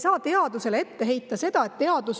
Teadusele ei saa seda ette heita.